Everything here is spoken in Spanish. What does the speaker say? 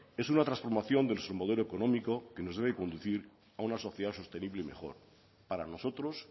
es una transformación del submodelo económico que nos debe conducir a una sociedad sostenible mejor para nosotros